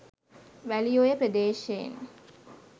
Welioya ප්‍රදේශයෙන්